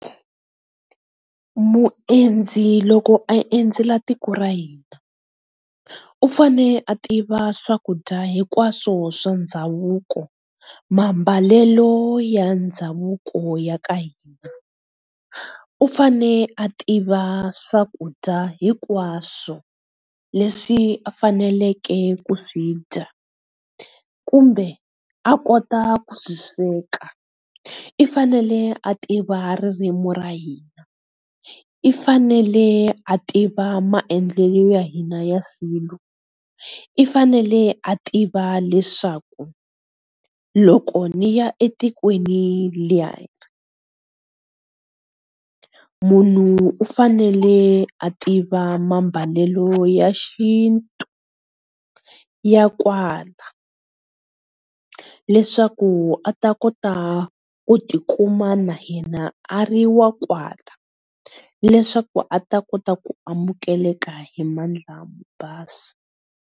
Muendzi loko a endzela tiko ra hina u fane a tiva swakudya hinkwaswo swa ndhavuko, maambalelo ya ndhavuko ya ka hina, u fane a tiva swakudya hinkwaswo leswi faneleke ku swidya kumbe a kota ku swisweka, i fanele a tiva ririmi ra hina, u fanele a tiva maendlelo ya hina ya swilo. U fanele a tiva leswaku loko ni ya etikweni leriya, munhu u fanele a tiva mambalelo ya xintu ya kwala leswaku a ta kota ku tikuma na hina a ri wa kwala leswaku a ta kota ku amukeleka hi mandla mo basa.